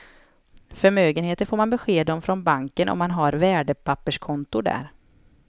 Förmögenheten får man besked om från banken om man har värdepapperskonto där.